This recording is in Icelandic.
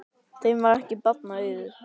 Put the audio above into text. Þeim varð ekki barna auðið.